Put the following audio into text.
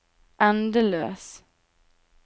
endeløs